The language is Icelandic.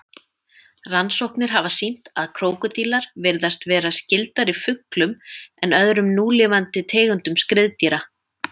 Rannsóknir hafa sýnt að krókódílar virðast vera skyldari fuglum en öðrum núlifandi tegundum skriðdýra.